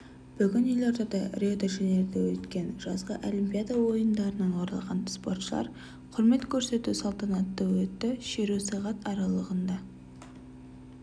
бүгін елордада рио-де-жанейрода өткен жазғы олимпиада ойындарынан оралған спортшыларға құрмет көрсету салтанаты өтеді шеру сағат аралығында